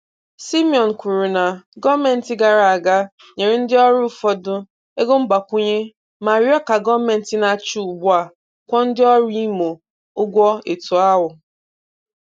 Simeon kwuru na gọọmenti gara aga nyere ndị ọrụ ụfọdụ ego mgbakwụnye ma rịọ ka gọọmenti na-achị ugbua kwụọ ndị ọrụ Imo ụgwọ etu ahụ.